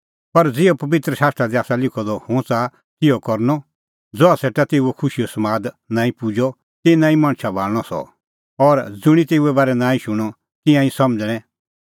पर ज़िहअ पबित्र शास्त्रा दी आसा लिखअ द हुंह च़ाहा तिहअ करनअ ज़हा सेटा तेऊओ खुशीओ समाद नांईं पुजअ तिन्नां ई मणछा भाल़णअ सह और ज़ुंणी तेऊए बारै नांईं शूणअ तिंयां ई समझ़णैं